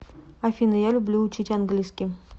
афина я люблю учить английский